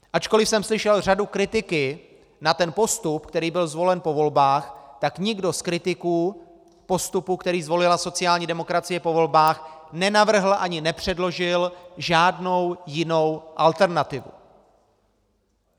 Ačkoliv jsem slyšel řadu kritiky na ten postup, který byl zvolen po volbách, tak nikdo z kritiků postupu, který zvolila sociální demokracie po volbách, nenavrhl ani nepředložil žádnou jinou alternativu.